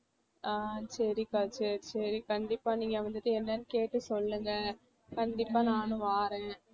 அஹ் சரிக்கா சரி சரி கண்டிப்பா நீங்க வந்துட்டு என்னன்னு கேட்டு சொல்லுங்க கண்டிப்பா நானும் வாறேன்